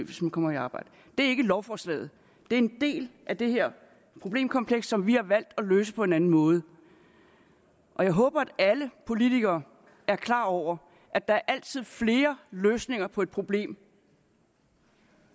hvis man kommer i arbejde det er ikke lovforslaget det er en del af det her problemkompleks som vi har valgt at løse på en anden måde jeg håber at alle politikere er klar over at der altid er flere løsninger på et problem